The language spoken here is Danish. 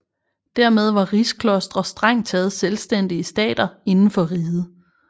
Dermed var rigsklostre strengt taget selvstændige stater inden for riget